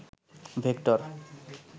vector